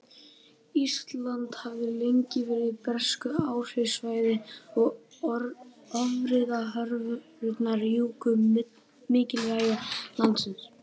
Ísland hafði lengi verið á bresku áhrifasvæði og ófriðarhorfurnar juku mikilvægi landsins.